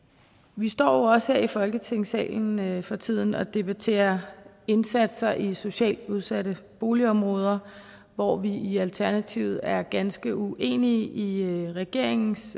vi står jo også her i folketingssalen for tiden og debatterer indsatser i socialt udsatte boligområder hvor vi i alternativet er ganske uenige i regeringens